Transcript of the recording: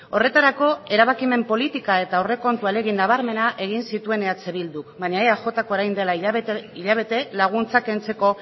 horretarako erabakimen politika eta aurrekontu ahalegin nabarmena egin zituen eh bilduk baina eajk orain dela hilabete laguntza kentzeko